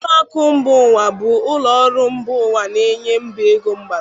Ụlọ akụ mba ụwa bụ ụlọ ọrụ ego mba ụwa na-enye mba ego mgbazi.